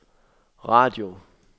radio